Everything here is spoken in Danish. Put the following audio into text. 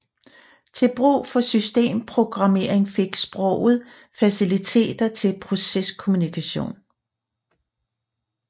Til brug for systemprogrammering fik sproget faciliteter til proceskommunikation